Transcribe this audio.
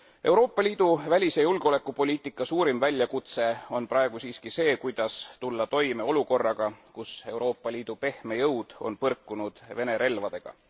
Euroopa Liidu välise julgeolekupoliitika suurim väljakutse on praegu siiski see, kuidas tulla toime olukorraga, kus Euroopa Liidu pehme jõud on põrkunud Vene relvadega.